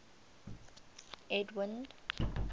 edwind